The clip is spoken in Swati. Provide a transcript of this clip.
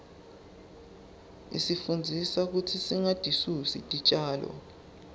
isifundzisa kutsi singatisusi titjalo